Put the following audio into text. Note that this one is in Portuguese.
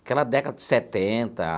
Aquela década de setenta.